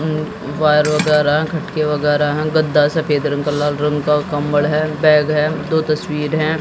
ऊ वायर वगैरा खटके वगैरा है गद्दा सफेद रंग का लाल रंग का कंबल है बैग है दो तस्वीर है।